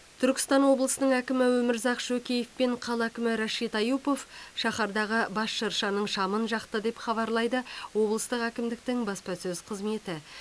түркістан облысының әкімі өмірзақ шөкеев пен қала әкімі рашид аюпов шаһардағы бас шыршаның шамын жақты деп хабарлайды облыстық әкімдіктің баспасөз қызметі